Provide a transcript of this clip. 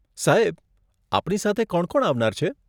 સાહેબ, આપની સાથે કોણ કોણ આવનાર છે?